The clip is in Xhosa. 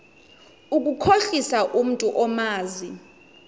ukukhohlisa umntu omazi